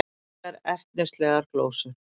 Engar ertnislegar glósur.